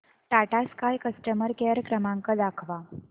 Tata sky customer care क्रमांक दाखवा